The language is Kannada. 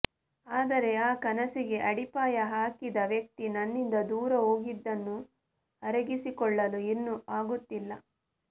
ಆದರೆ ಆ ಕನಸಿಗೆ ಅಡಿಪಾಯ ಹಾಕಿದ ವ್ಯಕ್ತಿ ನನ್ನಿಂದ ದೂರ ಹೋಗಿದ್ದನ್ನು ಅರಗಿಸಿಕೊಳ್ಳಲು ಇನ್ನೂ ಆಗುತ್ತಿಲ್ಲ